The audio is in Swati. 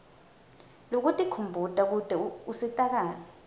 lwekutikhumbuta kute usitakale